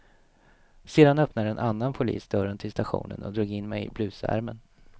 Sedan öppnade en annan polis dörren till stationen och drog in mig i blusärmen.